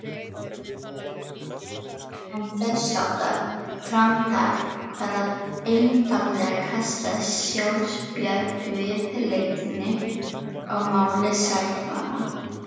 En þessháttar framtak kvað einfaldlega kallast sjálfsbjargarviðleitni á máli sæfara!